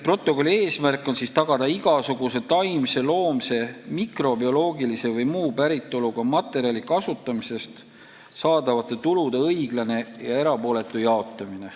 Protokolli eesmärk on tagada igasuguse taimse, loomse, mikrobioloogilise või muu päritoluga materjali kasutamisest saadavate tulude õiglane ja erapooletu jaotamine.